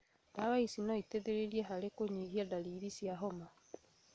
Ndawa ici noiteithĩrĩrie harĩ kũnyihia ndariri cia homa